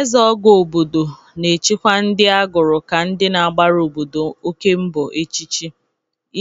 Ezeogo obodo na-echikwa ndị agụrụ ka ndị na-agbara obodo oke mgbọ echichi